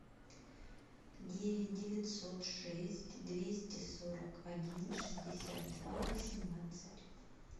девять девятьсот шесть двести сорок один шестьдесят два восемнадцать